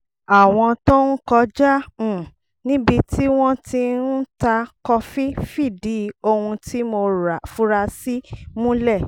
àwọn tó ń kọjá um níbi tí wọ́n ti ń ta kọfí fìdí ohun tí mo fura sí múlẹ̀